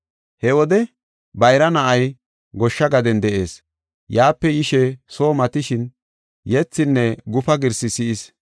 “He wode bayra na7ay goshsha gaden de7ees. Yaape yishe soo matishin yethinne gufa girsi si7is.